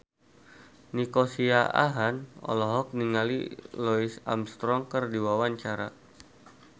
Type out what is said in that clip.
Nico Siahaan olohok ningali Louis Armstrong keur diwawancara